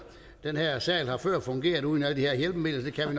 den her sal har før fungeret uden alle de her hjælpemidler og